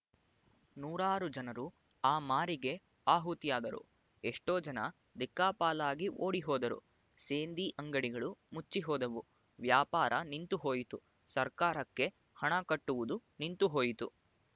ನೂರಾರು ಜನರು ಆ ಮಾರಿಗೆ ಆಹುತಿಯಾದರು ಎಷ್ಟೋ ಜನ ದಿಕ್ಕಾಪಾಲಾಗಿ ಓಡಿ ಹೋದರು ಸೇಂದಿ ಅಂಗಡಿಗಳು ಮುಚ್ಚಿ ಹೋದುವು ವ್ಯಾಪಾರ ನಿಂತುಹೋಯಿತು ಸರ್ಕಾರಕ್ಕೆ ಹಣ ಕಟ್ಟುವುದು ನಿಂತುಹೋಯಿತು